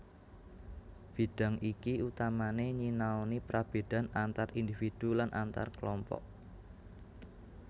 Bidang iki utamané nyinaoni prabédan antar individu lan antar klompok